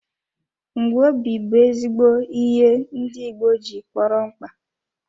Ngwobi bụ ezigbo ihe ndị igbo ji kpọrọ mkpa.